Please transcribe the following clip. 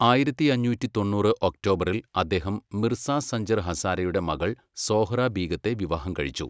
ആയിരത്തിയഞ്ഞൂറ്റി തൊണ്ണൂറ് ഒക്ടോബറിൽ അദ്ദേഹം മിർസ സഞ്ജർ ഹസാരയുടെ മകൾ സോഹ്റ ബീഗത്തെ വിവാഹം കഴിച്ചു.